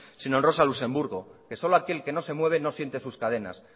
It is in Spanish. sino en rosa luxemburgo que solo aquel que no se mueve no siente sus cadenas